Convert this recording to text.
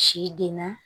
Si denna